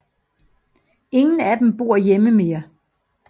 Ingen af dem bor hjemme mere